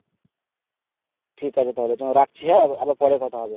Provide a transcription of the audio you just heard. ঠিক আছে তাহলে তোমায় রাখছি হ্যা আবার পরে কথা হবে।